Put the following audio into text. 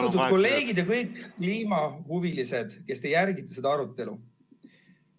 Austatud kolleegid ja kõik kliimahuvilised, kes te jälgite seda arutelu!